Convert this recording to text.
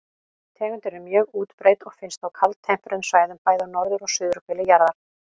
Tegundin er mjög útbreidd og finnst á kaldtempruðum svæðum, bæði á norður- og suðurhveli jarðar.